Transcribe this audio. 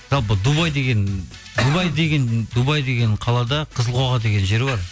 жалпы дубай деген қалада қызылқоға деген жер бар